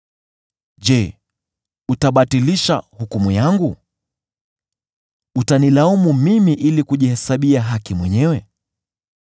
“Je, utabatilisha hukumu yangu? Utanilaumu mimi ili kujihesabia haki mwenyewe?